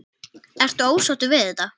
Ertu ósáttur við þetta?